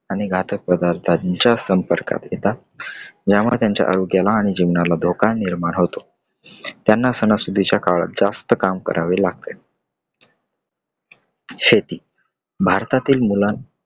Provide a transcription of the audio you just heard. आणि घातक पदार्थाच्या संपर्कात येतात . यामुळे त्यांच्या आरोग्याला आणि जीवनाला धोका निर्माण होतोत. त्यांना सणासुदीच्या काळात जास्त काम करावे लागते. शेती भारतातील मुलां